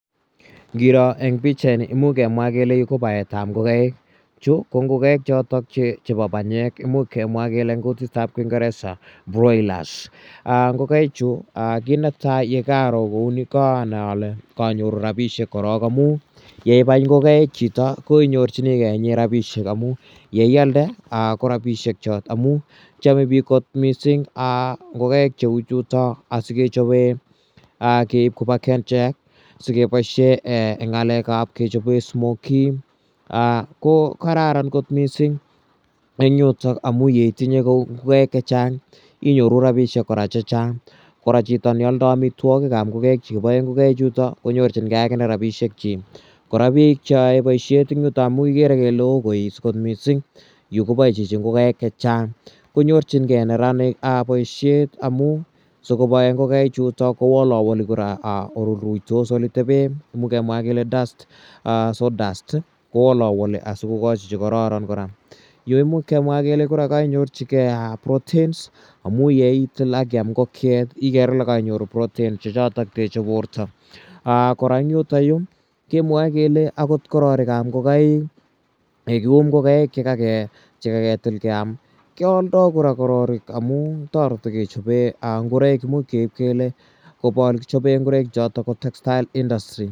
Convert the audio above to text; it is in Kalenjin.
Ngiro eng pichaii ni imuch kemwa kele yu ko baetab ngokaik chou ko ngokaik chebo banyek imuch kemwa kele eng kutitab kingereza broilers. Ngokaichu kit netai ye karo kou ni ko kaanai ale kaanyoru rabiishek korok amu ye ialde ko rabiishek chot amu chome bik kot missing ngokaik cheu chutok si keib koba kengen[cs si kechobe smokies ko kararan kot missing eng yutok amu ngitinye kou ngokaik che chang inyoru rabiishek chang kora chito ne aldoi amitwogik che kiboe ngokaik chutok konyorjigei rabiishek chi kora bik che oei boisiet eng yutok amu kikere kele oo boishet kot missing. Yu koboe chichi ngokaik che chang konyorjingei neranik boisiet amu si koboe ngokaik chutok kowolewole ole ruitos, ole tebe sawdust kowolowoli si kokoch che kororon kora. Yu imuch kemwa kole kainyorjigei proteins amu ngitil ak iam ngokche ikere kainyorjigei proteins che chotok techei borto chotok techei borto kora eng yutok kemwae kele angot kororikab ingokaik ye kakium ngokaik che kakitil keam kealdoi kora kororik amu toreti kechobe ngoroik imuch keib kole kakichobe ingoroik chotok bo textile industry.